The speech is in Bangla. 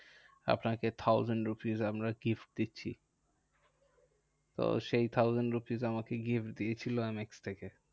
আপনাকে thousand rupees আমরা gift দিচ্ছি। তো সেই thousand rupees আমাকে gift দিয়েছিল আমি এম এক্স থেকে।